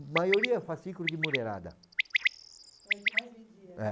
A maioria é o fascículo de Mureirada. É o que mais vendia?